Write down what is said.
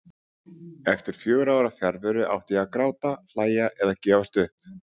Eftir fjögurra ára fjarveru. átti ég að gráta, hlæja eða gefast upp?